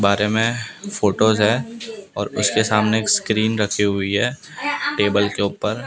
बारे में फोटोस है और उसके सामने एक स्क्रीन रखी हुई है टेबल के ऊपर।